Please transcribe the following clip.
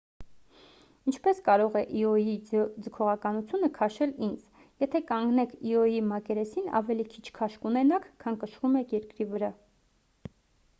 ինչպես կարող է իոյի ձգողականությունը քաշել ինձ եթե կանգնեք իոյի մակերեսին ավելի քիչ քաշ կունենաք քան կշռում եք երկրի վրա